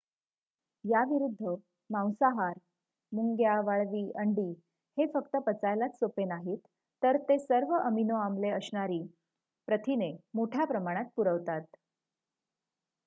याविरुद्ध मांसाहार मुंग्या वाळवी अंडी हे फक्त पचायलाच सोपे नाहीत तर ते सर्व अमिनो आम्ले असणारी प्रथिने मोठ्या प्रमाणात पुरवतात